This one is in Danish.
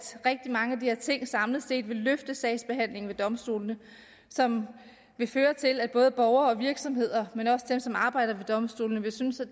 rigtig mange af de her ting samlet set vil løfte sagsbehandlingen ved domstolene som vil føre til at både borgere og virksomheder men også dem som arbejder ved domstolene vil synes at